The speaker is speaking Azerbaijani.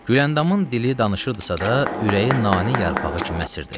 Güləndamın dili danışırdısa da, ürəyi nanə yarpağı kimi əsirdi.